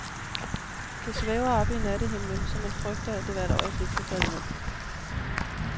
Det svæver oppe i nattehimlen, så man frygter, at det hvert øjeblik kunne falde ned.